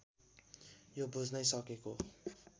यो बुझ्नै सकेको